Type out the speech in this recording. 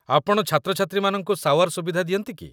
ଆପଣ ଛାତ୍ରଛାତ୍ରୀମାନଙ୍କୁ ସାୱାର୍ ସୁବିଧା ଦିଅନ୍ତି କି?